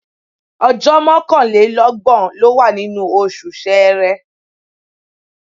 Ọjọ́ mọ́kànlélọ́gbọ̀n ló wà nínú oṣù Ṣẹẹrẹ.